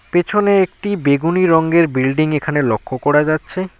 পেছনে একটি বেগুনী রঙ্গের বিল্ডিং এখানে লক্ষ করা যাচ্ছে।